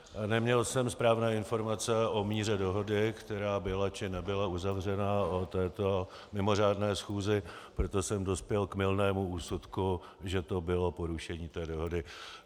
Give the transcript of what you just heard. Neměl jsem správné informace o míře dohody, která byla, či nebyla uzavřena o této mimořádné schůzi, proto jsem dospěl k mylnému úsudku, že to bylo porušení té dohody.